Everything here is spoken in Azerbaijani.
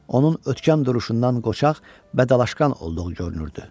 Onun ötkəm duruşundan qoçaq və dalaşqan olduğu görünürdü.